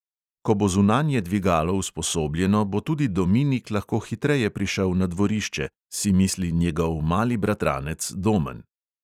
Ko bo zunanje dvigalo usposobljeno, bo tudi dominik lahko hitreje prišel na dvorišče, si misli njegov mali bratranec domen.